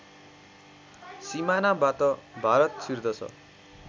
सिमानाबाट Bharat छिर्दछ